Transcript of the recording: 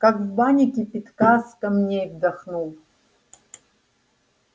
как в бане кипятка с камней вдохнул